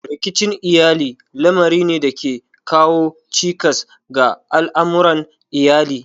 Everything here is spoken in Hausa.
Rikicin iyali lamari ne da ke kawo cikas ga al'amuran iyali.